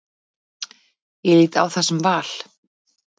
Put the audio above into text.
Ég lít á það sem val.